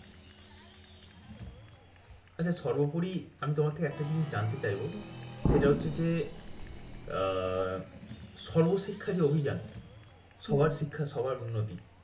আচ্ছা সর্বোপরি আমি তোমার থেকে একটা জিনিস জানতে চাইবো? সেটা হচ্ছে যে, আহ সর্বশিক্ষা যে অভিযান সবার শিক্ষা সবার উন্নতি